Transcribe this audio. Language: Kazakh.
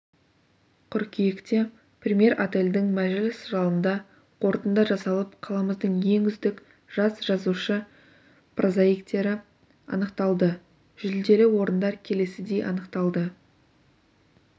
қыркүйекте премьер-отельдің мәжіліс залында қорытынды жасалып қаламыздың ең үздік жас жазушы-прозаиктері анықталды жүлделі орындар келесідей анықталды